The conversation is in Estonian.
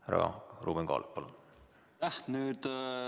Härra Ruuben Kaalep, palun!